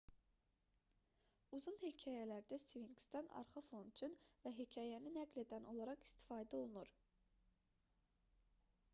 uzun hekayələrdə sfinksdən arxa fon üçün və hekayəni nəql edən olaraq istifadə olunur